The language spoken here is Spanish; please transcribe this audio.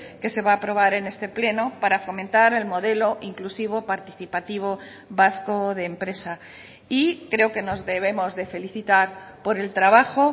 que se va a aprobar en este pleno para fomentar el modelo inclusivo participativo vasco de empresa y creo que nos debemos de felicitar por el trabajo